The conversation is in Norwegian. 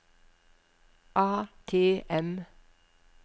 ATM